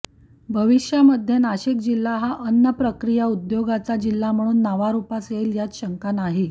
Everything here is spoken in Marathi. भविष्यामध्ये नाशिक जिल्हा हा अन्न प्रक्रिया उद्योगाचा जिल्हा म्हणून नावारुपास येईल यात शंका नाही